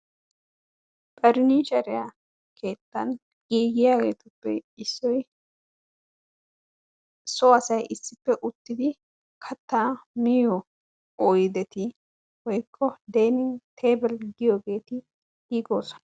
Ferniicheriya keettan giigiyageruppe issoy so asa issippe uttidi katta miyo oyddeti woykko tabel giyoogeeti giigoosona.